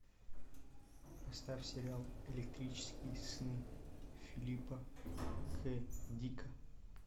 поставь сериал электрические сны филипа к дика